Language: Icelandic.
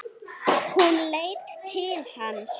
Hún leit til hans.